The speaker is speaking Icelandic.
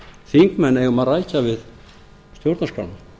þingmenn eigum að rækja við stjórnarskrána